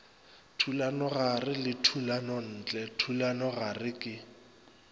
thulanogare le thulanontle thulanogare ke